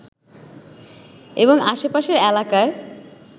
এবং আশেপাশের এলাকায়